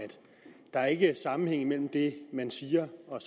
der ikke er sammenhæng mellem det man siger og